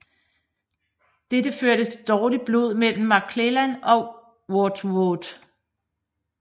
Dette førte til dårligt blod mellem McClellan og Wadsworth